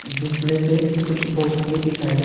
जिसमें से कुछ बॉक्स भी दिखाई दे --